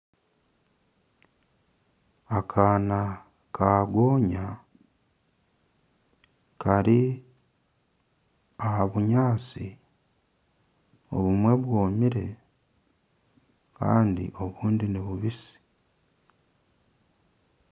Akaana ka gonya kari aha binyaatsi obumwe bwomire kandi obundi nibubisi